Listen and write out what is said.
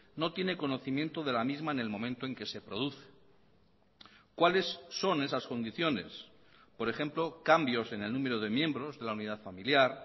no tiene conocimiento de la misma en el momento en que se produce cuáles son esas condiciones por ejemplo cambios en el número de miembros de la unidad familiar